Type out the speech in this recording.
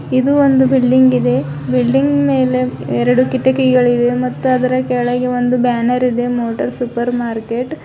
ಇದು ಒಂದು ಬಿಲ್ಡಿಂಗ್ ಇದೆ ಬಿಲ್ಡಿಂಗ್ ಮೇಲೆ ಎರಡು ಕಿಟಕಿಗಳಿವೆ ಮತ್ತು ಅದರ ಕೆಳಗೆ ಒಂದು ಬ್ಯಾನರ್ ಇದೆ ಮೋಟಾರ್ ಸೂಪರ್ ಮಾರ್ಕೆಟ್ .